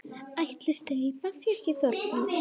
Ætli steypan sé ekki þornuð?